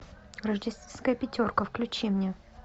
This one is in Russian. рождественская пятерка включи мне